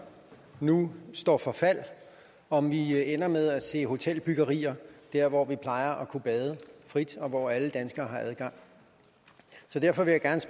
nu står for fald om vi ender med at se hotelbyggerier der hvor vi plejer at kunne bade frit og hvor alle danskere har adgang så derfor vil